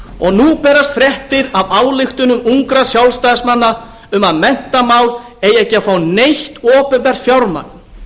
og nú berast fréttir af ályktunum ungra sjálfstæðismanna um að menntamál eigi ekki að fá neitt opinbert fjármagn